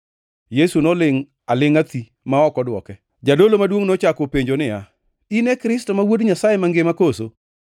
To Yesu nolingʼ alingʼa thi ma ok odwoke. Jadolo maduongʼ nochako openje niya, “In e Kristo ma Wuod Nyasaye Mangima koso?”